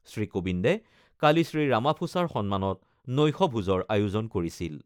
শ্ৰীকোবিন্দে কালি শ্ৰীৰামাফোচাৰ সন্মানত নৈশভোজৰ আয়োজন কৰিছিল।